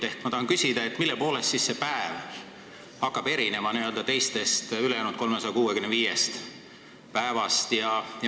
Ehk ma tahan küsida, mille poolest siis see päev hakkab erinema teistest, ülejäänud 365-st päevast.